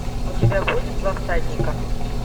у тебя будет два всадника